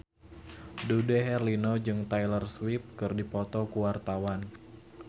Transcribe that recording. Dude Herlino jeung Taylor Swift keur dipoto ku wartawan